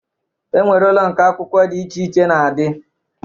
E nwere ụlọ nke akwụkwọ dị iche iche na-adị